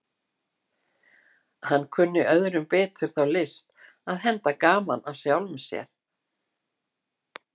Hann kunni öðrum betur þá list að henda gaman að sjálfum sér.